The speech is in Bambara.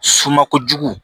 Suma kojugu